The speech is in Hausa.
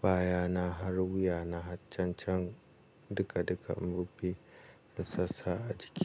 baya na har wuya na cancan duka duka mu bi masassa a jiki.